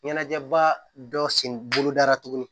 Ɲɛnajɛba dɔ sen bolodara tuguni